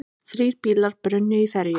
Þrír bílar brunnu í ferju